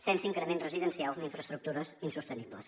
sense increments residencials ni infraestructures insostenibles